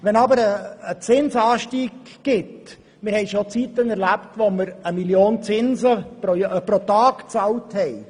Wir haben jedoch schon Zeiten erlebt, in denen wir 1 Mio. Franken Zinsen pro Tag bezahlt haben.